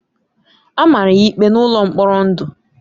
A mara ya ikpe n’ụlọ mkpọrọ ndụ.